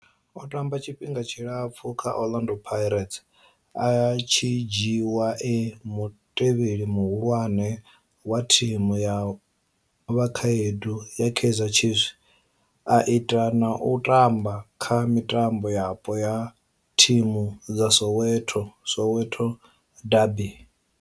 O tamba tshifhinga tshilapfhu kha Orlando Pirates, a tshi dzhiiwa e mutevheli muhulwane wa thimu ya vhakhaedu ya Kaizer Chiefs, a ita na u tamba kha mitambo yapo ya thimu dza Soweto Soweto derbies.